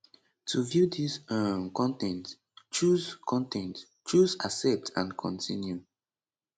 to view dis um con ten t choose con ten t choose accept and continue